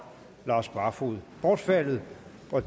lars barfoed bortfaldet